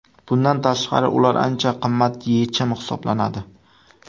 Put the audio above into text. Bundan tashqari, ular ancha qimmat yechim hisoblanadi.